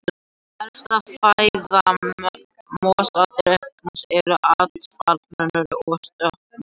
Helsta fæða mosadrekans eru áttfætlumaurar og stökkmor.